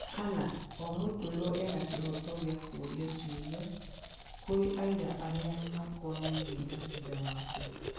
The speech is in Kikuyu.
Kana, omũtuĩrwo ena kĩhooto gĩa gũkĩia ciũria kũrĩ aira arĩa makonainie na cira wake